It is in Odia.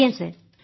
ଆଜ୍ଞା ସାର୍